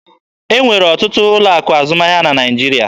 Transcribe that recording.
E nwere ọtụtụ ụlọ akụ azụmahịa na Naịjirịa.